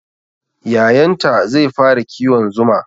Yayanta zai fara kiwon zuma